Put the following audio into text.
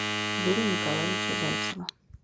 юрия николаевича зайцева